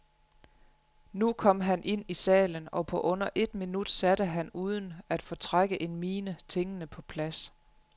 Nu kom han ind i salen, og på under et minut satte han uden at fortrække en mine tingene på plads.